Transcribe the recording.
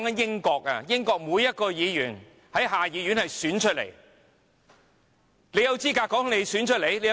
英國下議院每一位議員也由選舉選出，你有甚麼資格說自己被選出來呢？